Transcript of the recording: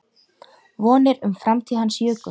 Vonir um framtíð hans jukust.